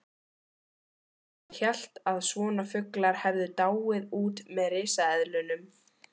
Hann hélt að svona fuglar hefðu dáið út með risaeðlunum!